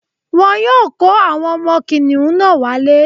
Wọ́n yóò kó àwọn ọmọ kìnìún náà wálé